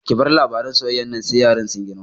Ki bar labaran soyayyar nan sai yaran sun girma!